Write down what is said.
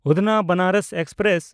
ᱩᱫᱷᱱᱟ–ᱵᱮᱱᱟᱨᱚᱥ express